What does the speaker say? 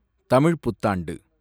தமிழ்ப் புத்தாண்டு